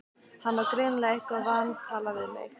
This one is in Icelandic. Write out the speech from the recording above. Hann á greinilega eitthvað vantalað við mig.